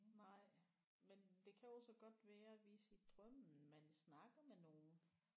Nej men det kan jo så godt være hvis i drømmen man snakker med nogen